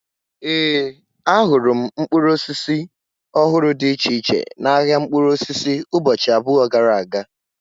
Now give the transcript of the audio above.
Ee, ahụrụ m mkpụrụ osisi ọhụrụ dị iche iche n'ahia mkpụrụ osisi ụbọchị abụọ gara aga